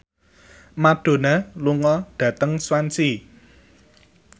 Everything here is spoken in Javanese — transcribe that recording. Madonna lunga dhateng Swansea